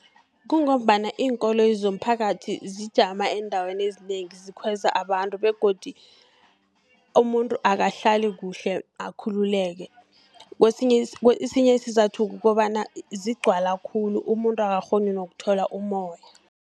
Kungombana iinkoloyi zomphakathi zijama eendaweni ezinengi, zikhweza abantu, begodu umuntu akahlali kuhle akhululeke. Esinye isizathu kukobana zigcwala khulu, umuntu akakghoni nokuthola umoya.